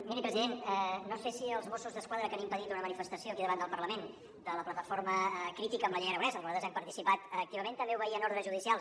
miri president no sé si els mossos d’esquadra que han impedit una manifestació aquí davant del parlament de la plataforma crítica amb la llei aragonès en la que nosaltres hem participat activament també obeïen ordres judicials